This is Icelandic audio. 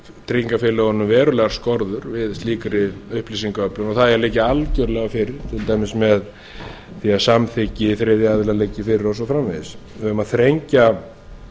tryggingafélögunum verulegar skorður við slíkri upplýsingaöflun og það eigi að liggja algerlega fyrir til dæmis með því að samþykki þriðja aðila liggi fyrir og svo framvegis um að þrengja